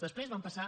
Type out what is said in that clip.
després van passar